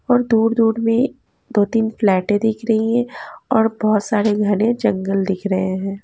और दूर दूर में दो तीन फ्लैटे दिख रही है और बहोत सारे घने जंगल दिख रहे हैं।